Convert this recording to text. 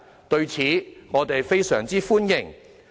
對此，我們非常歡迎。